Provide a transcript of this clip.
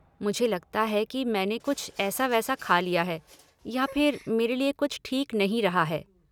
मुझे लगता है कि मैंने कुछ ऐसा वैसा खा लिया है या फिर मेरे लिए कुछ ठीक नहीं रहा है।